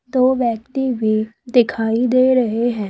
दो व्यक्ति भी दिखाई दे रहे हैं।